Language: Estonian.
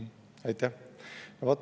Aitäh!